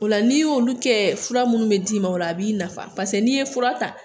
O la n'i y'olu kɛ fura minnu bɛ d'i ma o la a b'i nafa n'i ye fura ta